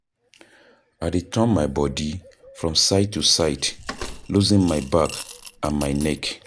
I dey turn my bodi from side to side, loosen my back and my neck.